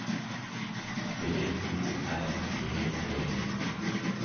B O R G E